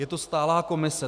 Je to stálá komise.